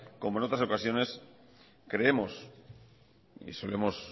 como en otras ocasiones creemos y se lo hemos